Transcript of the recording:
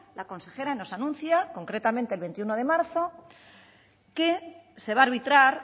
la consejera nos anuncia concretamente el veintiuno de marzo que se va a arbitrar